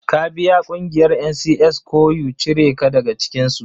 Ka biya ƙungiyar NCS ko u cire ka daga cikinsu.